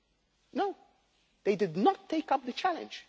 No, they did not take up the challenge.